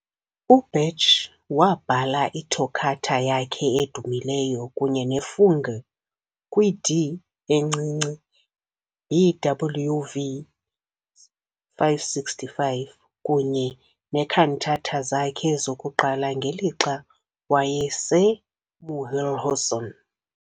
UBach wabhala iToccata yakhe edumileyo kunye neFugue kwi-D encinci, BWV 565, kunye nee-cantata zakhe zokuqala ngelixa wayeseMühlhausen.